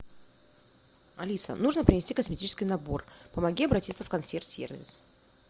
алиса нужно принести косметический набор помоги обратиться в консьерж сервис